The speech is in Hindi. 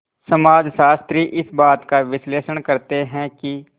समाजशास्त्री इस बात का विश्लेषण करते हैं कि